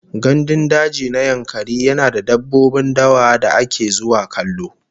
Gandun daji na Yankari yana da dabbobin dawa da ake zuwa kallo